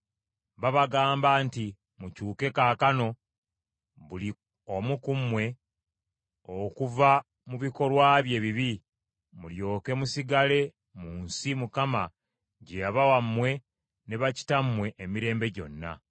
Babagamba nti, “Mukyuke kaakano, buli omu ku mmwe okuva mu bikolwa bye ebibi, mulyoke musigale mu nsi Mukama gye yabawa mmwe ne bakitammwe emirembe gyonna.